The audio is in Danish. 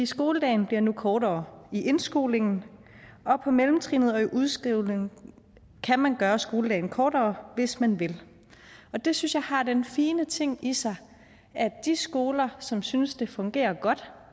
skoledagen bliver nu kortere i indskolingen og på mellemtrinnet og i udskrivningen kan man gøre skoledagen kortere hvis man vil det synes jeg har den fine ting i sig at de skoler som synes at det fungerer godt